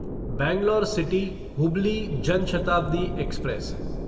Bangalore city Hubli Jan Shatabdi express